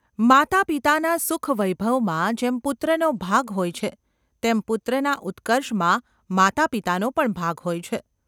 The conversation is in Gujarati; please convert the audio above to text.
માતાપિતાનાં સુખવૈભવમાં જેમ પુત્રનો ભાગ હોય છે તેમ પુત્રના ઉત્કર્ષમાં માતાપિતાનો પણ ભાગ હોય છે.